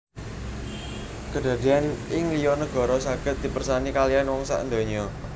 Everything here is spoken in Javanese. Kédadèan ing liyo nagara sagéd dipèrsani kalihan wong sak ndonyo